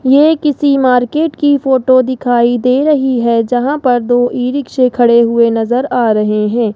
ये किसी मार्केट की फोटो दिखाई दे रही है जहां पर दो ई रिक्शा खड़े हुए नजर आ रहे हैं।